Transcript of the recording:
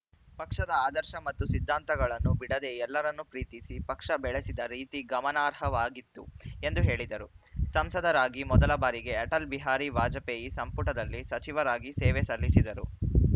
ಪಕ್ಷದ ಆದರ್ಶ ಮತ್ತು ಸಿದ್ಧಾಂತಗಳನ್ನು ಬಿಡದೆ ಎಲ್ಲರನ್ನೂ ಪ್ರೀತಿಸಿ ಪಕ್ಷ ಬೆಳೆಸಿದ ರೀತಿ ಗಮನಾರ್ಹವಾಗಿತ್ತು ಎಂದು ಹೇಳಿದರು ಸಂಸದರಾಗಿ ಮೊದಲಬಾರಿಗೆ ಅಟಲ್‌ ಬಿಹಾರಿ ವಾಜಪೇಯಿ ಸಂಪುಟದಲ್ಲಿ ಸಚಿವರಾಗಿ ಸೇವೆ ಸಲ್ಲಿಸಿದ್ದರು